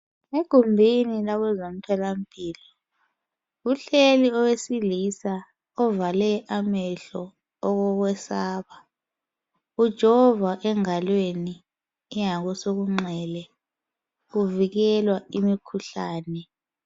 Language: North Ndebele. Egumbini lakwezemtholampilo, kuhleli owesilisa ovale amehlo okokwesaba. Ujovwa engalweni engakosekunxele uvikelwa imikhuhlane.